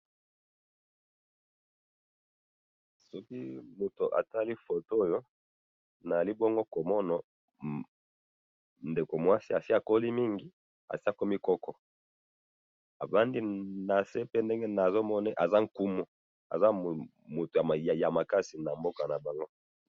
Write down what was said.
Na moni Maman asi akoli afandi.